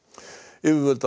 yfirvöld á